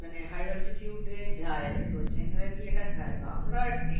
মানে high altitude এ যায় তো generally এটা খায় তো আমরা একটি